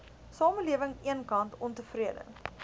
samelewing eenkant ontevrede